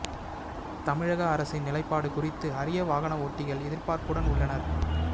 தமிழக அரசின் நிலைப்பாடு குறித்து அறிய வாகன ஓட்டிகள் எதிர்பார்ப்புடன் உள்ளனர்